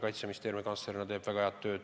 Kaitseministeeriumi kantslerina tegi ta väga head tööd.